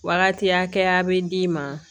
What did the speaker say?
Wagati hakɛya bɛ d'i ma